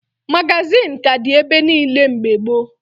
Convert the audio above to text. Magazịn ka dị ebe niile mgbe gboo